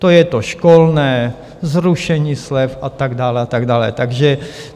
To je to školné, zrušení slev a tak dále a tak dále.